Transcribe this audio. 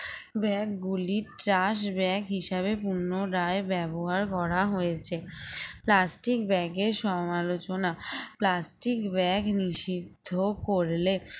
bag গুলি trash bag হিসেবে পুনরায় ব্যবহার করা হয়েছে plastic bag এর সমালোচনা plastic bag নিষিদ্ধ করলে